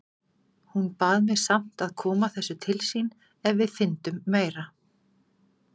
Hún bað mig samt að koma þessu til sín ef við fyndum meira.